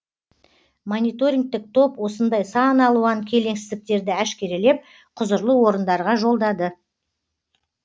мониторингтік топ осындай сан алуан келеңсіздіктерді әшкерелеп құзырлы орындарға жолдады